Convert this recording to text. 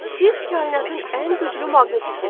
Siz kainatın ən güclü maqnetisiz.